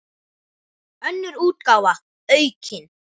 Önnur útgáfa, aukin.